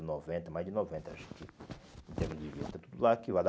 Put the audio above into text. noventa, mais de noventa, acho. Em termos de vida, tudo lá arquivado.